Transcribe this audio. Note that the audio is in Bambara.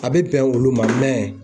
A bɛ bɛn olu ma mɛ